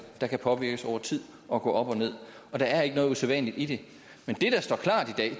der kan påvirkes over tid og gå op og nederst og der er ikke noget usædvanligt i det men